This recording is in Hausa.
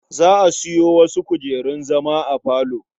Za a sayo wasu kujerun zama a falo.